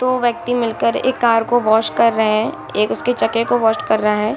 दो व्यक्ति मिलकर एक कार को वॉश कर रहे है | एक उसके चके को वोशड कर रहा है |